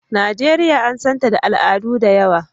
Najeriya an san ta da al'adu da yawa.